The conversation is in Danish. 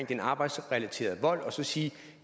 den arbejdsrelaterede vold og sige